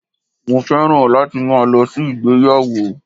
Mo fẹ́ràn láti máa lo sí ìgbéyàwó